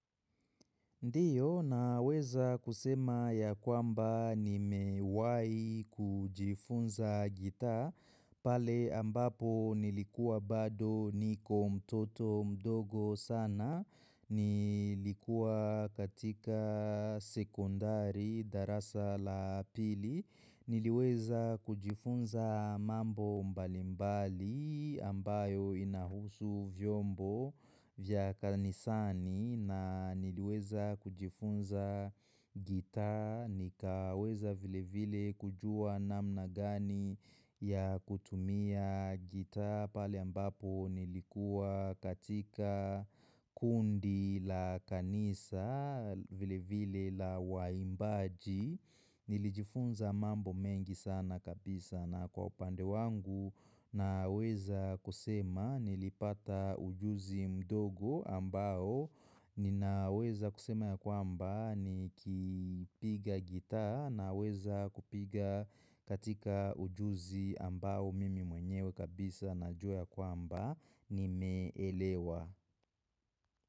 Ndiyo, naweza kusema yakwamba nimewai kujifunza gitaa, pale ambapo nilikuwa bado niko mtoto mdogo sana, nilikuwa katika sekondari darasa la pili, Niliweza kujifunza mambo mbalimbali ambayo inahusu vyombo vya kanisani na niliweza kujifunza gitaa nikaweza vile vile kujua namna gani ya kutumia gitaa pale ambapo nilikua katika kundi la kanisa vile vile la waimbaji nilijifunza mambo mengi sana kabisa na kwa upande wangu naweza kusema nilipata ujuzi mdogo ambao ninaweza kusema ya kwamba ni kipiga gitaa Naweza kupiga katika ujuzi ambao mimi mwenyewe kabisa najua ya kwamba nimeelewa.